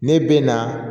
Ne bɛ na